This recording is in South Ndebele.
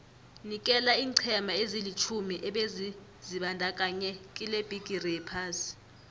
nikela iinqhema ezilitjhumi ebezizibandakanye kilebhigiri yephasi